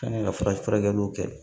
An kan ka fura kɛliw kɛ